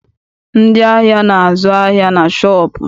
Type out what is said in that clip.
Ndị ahịa na- azụ ahịa na shọọpụ.